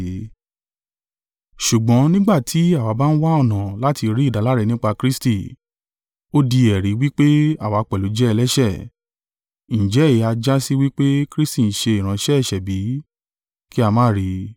“Ṣùgbọ́n nígbà tí àwa bá ń wá ọ̀nà láti rí ìdáláre nípa Kristi, ó di ẹ̀rí wí pé àwa pẹ̀lú jẹ́ ẹlẹ́ṣẹ̀, ǹjẹ́ èyí ha jásí wí pé Kristi ń ṣe ìránṣẹ́ ẹ̀ṣẹ̀ bí? Kí a má rí ì!